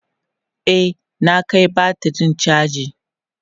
e na Kai batirin chaji